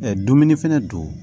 dumuni fɛnɛ don